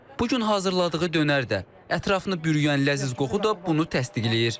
Bu gün hazırladığı dönər də, ətrafını bürüyən ləzziz qoxu da bunu təsdiqləyir.